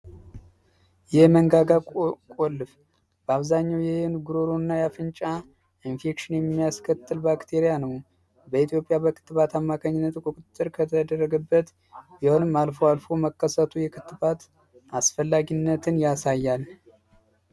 የመንጋጋ ቆልፍ በአብዛኘው የይህን ጉሮሩ እና ያፍንጫ ኢንፌክሽን የሚያስከትል ባክቴሪያ ነው። በኢትዮጵያ በክትባት አማከኝነት ቁጥጥር ከተደረግበት ቢሆንም አልፎ አልፎ መከሰቱ የክትባት አስፈላጊነትን ያሳያል።